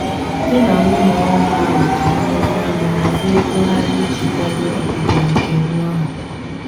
di na nwunye ọhụụ ahụ ji nlezianya hazie ego ha iji kwado ọbịbịa nke nwa ha.